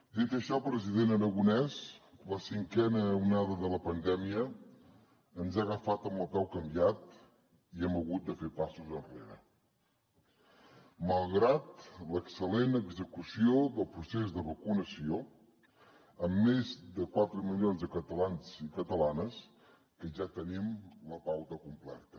dit això president aragonès la cinquena onada de la pandèmia ens ha agafat amb el peu canviat i hem hagut de fer passos enrere malgrat l’excel·lent execució del procés de vacunació amb més de quatre milions de catalans i catalanes que ja tenim la pauta completa